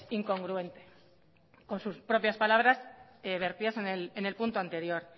incongruente con sus propias palabras vertidas en el punto anterior